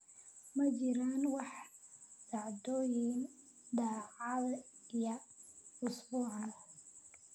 ma jiraan wax dhacdooyin dhacaya isbuucaan